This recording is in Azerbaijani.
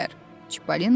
Çipalina dedi.